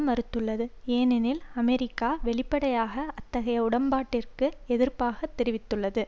மறுத்துள்ளது ஏனெனில் அமெரிக்கா வெளிப்படையாக அத்தகைய உடம்பாட்டிற்கு எதிர்ப்பை தெரிவித்துள்ளது